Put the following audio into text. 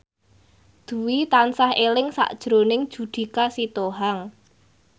Dwi tansah eling sakjroning Judika Sitohang